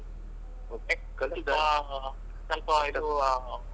ಹೌದ್ ಸ್ವಲ್ಪಾ ಸ್ವಲ್ಪ ಇದು.